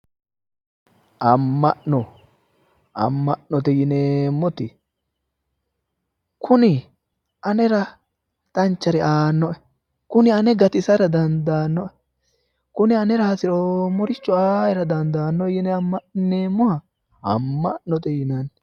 amma'no amma'note yineemmoti kuni anera danchare aannoe kuni ane gatisara dandaannoe kuni anera hasiroommoricho aaera dandaanno yine amma'nineemmoha amma'note yinanni.